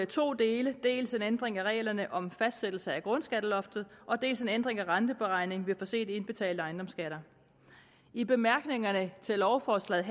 to dele dels en ændring af reglerne om fastsættelse af grundskatteloftet dels en ændring af renteberegningen ved for sent indbetalte ejendomsskatter i bemærkningerne til lovforslaget